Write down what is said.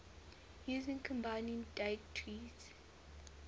using combining diacritics